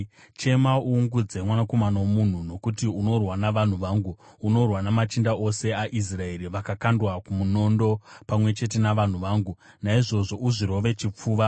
Chema uungudze, mwanakomana womunhu, nokuti unorwa navanhu vangu; unorwa namachinda ose aIsraeri. Vakakandwa kumunondo, pamwe chete navanhu vangu. Naizvozvo uzvirove chipfuva.